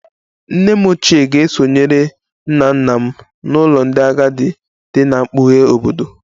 Nne m ochie ga-esonyere nna nna m n'ụlọ ndị agadi dị ná mpụga obodo